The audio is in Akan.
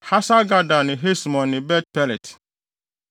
Hasar-Gada ne Hesmon ne Bet-Pelet,